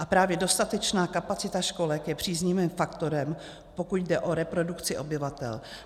A právě dostatečná kapacita školek je příznivým faktorem, pokud jde o reprodukci obyvatel.